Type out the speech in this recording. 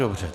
Dobře.